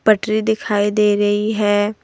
पटरी दिखाई दे रही है।